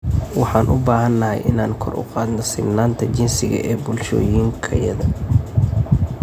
Waxaan u baahanahay inaan kor u qaadno sinnaanta jinsiga ee bulshooyinkayada.